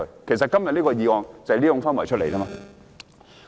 其實，今天這項議案正是源自這種氛圍。